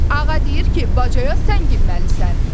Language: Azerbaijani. Ağa deyir ki, bacaya sən girməlisən.